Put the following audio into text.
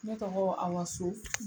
Ne tɔgɔ Awa So.